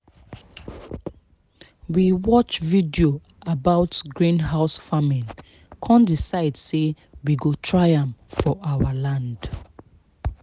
we watch video about greenhouse farming kan decide say we go try am for our land